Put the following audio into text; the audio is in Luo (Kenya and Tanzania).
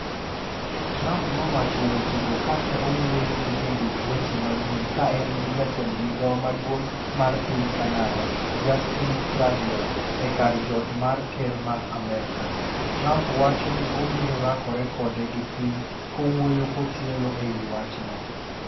Trump nowacho weche go ka ne owuoyo gi jondik weche manyien kaen gi jatend migao maduong' mar piny Canada, Justin Trudeau e kar jot mar ker mar Amerka. Trump wacho ni obiro rakore kode gi piny kowuoyo kotielo ewi wachno.